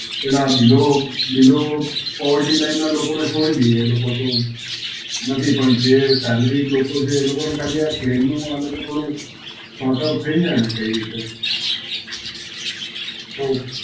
પેલા below below Poverty Lane ના લોકો ને છોડી દઈએ. એ લોકો તો નથી. પણ જે salary લોકો છે, એ લોકોને ખાલી આ claim નું આ લોકો થોડું sortout થઈ જાયને કઈ રીતે, તો